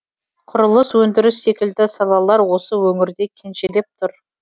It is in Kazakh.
құрылыс өндіріс секілді салалар осы өңірде кенжелеп тұр